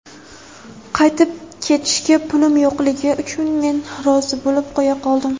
Qaytib ketishga pulim yo‘qligi uchun men rozi bo‘lib qo‘ya qoldim.